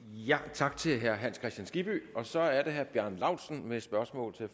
tak til herre hans kristian skibby så er det herre bjarne laustsen med et spørgsmål til